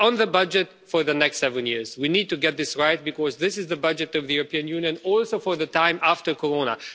On the budget for the next seven years, we need to get this right, because this is the budget of the European Union, also for the time after corona.